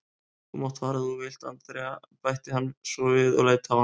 Þú mátt fara ef þú vilt, Andrea bætti hann svo við og leit á hana.